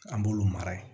An b'olu mara yen